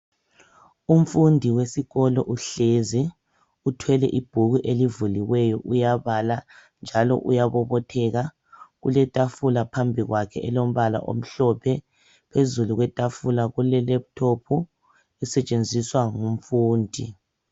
Umfundi wesikolo uhlezi uthwele ibhuku elivuliwe uyabala njalo uyabobotheka kuletafula phambi kwakhe elombala omhlophe phezu kwetafula kule laptop esetshenziswa ngumfundi.